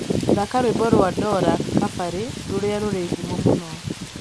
thaka rwīmbo rwa dola kabari rūria rūri ngumo mūno